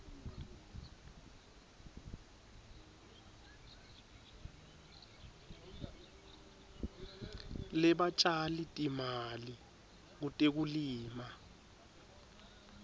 lebatjali timali kutekulima